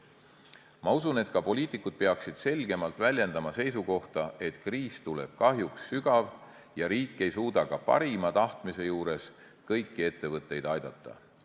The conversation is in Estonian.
Ma usun, et ka poliitikud peaksid selgemalt väljendama seisukohta, et kriis tuleb kahjuks sügav ja riik ei suuda ka parima tahtmise juures kõiki ettevõtteid aidata.